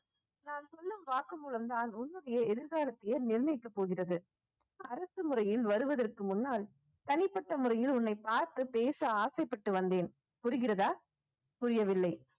நான் சொல்லும் வாக்குமூலம் தான் உன்னுடைய எதிர்காலத்தையே நிர்ணயிக்கப் போகிறது அரசு முறையில் வருவதற்கு முன்னால் தனிப்பட்ட முறையில் உன்னை பார்த்து பேச ஆசைப்பட்டு வந்தேன் புரிகிறதா புரியவில்லை